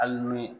Hali ni